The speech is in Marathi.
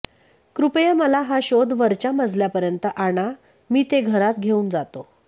कृपया मला हा शोध वरच्या मजल्यापर्यंत आणा मी ते घरात घेऊन जातो